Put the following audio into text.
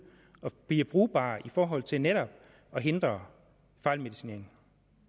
og bliver brugbar i forhold til netop at hindre fejlmedicinering